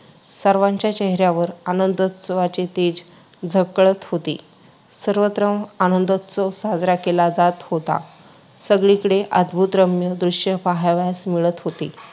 सर्वांच्या चेहऱ्यावर आनंदोत्सवाचे तेज झळकत होते. सर्वत्र आनंदोत्सव साजरा केला जात होता. सगळीकडे अद्‌भुतरम्य दृश्य पहावयास मिळत होते.